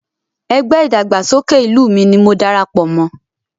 Ẹgbẹ́ ìdàgbàsókè ìlú ni mo dara pọ̀ mọ́